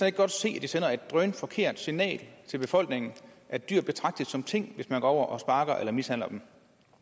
ikke godt se at det sender et drønforkert signal til befolkningen at dyr betragtes som ting hvis man går over og sparker eller mishandler dem